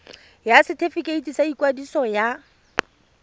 ya setefikeiti sa ikwadiso ya